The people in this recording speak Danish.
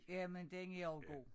Jamen den er også god